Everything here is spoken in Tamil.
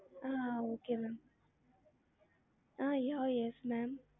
ah okay ma'am ah yeah yes ma'am